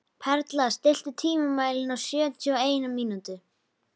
Perla, stilltu tímamælinn á sjötíu og eina mínútur.